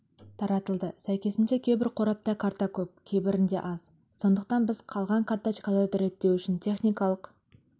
таратылды сәйкесінше кейбір қорапта карта көп кейбірінде аз сондықтан біз қалған карточкаларды реттеу үшін техникалық